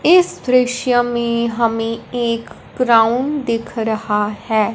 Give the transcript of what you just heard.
इस दृश्य में हमें एक ग्राउंड दिख रहा है।